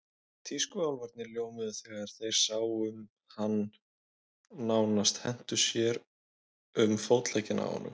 Tískuálfarnir ljómuðu þegar þeir sáum hann og nánast hentu sér um fótleggina á honum.